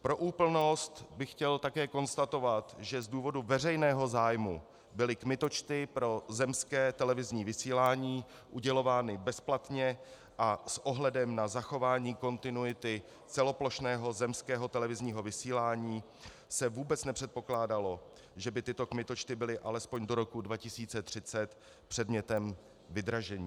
Pro úplnost bych chtěl také konstatovat, že z důvodu veřejného zájmu byly kmitočty pro zemské televizní vysílání udělovány bezplatně a s ohledem na zachování kontinuity celoplošného zemského televizního vysílání se vůbec nepředpokládalo, že by tyto kmitočty byly alespoň do roku 2030 předmětem vydražení.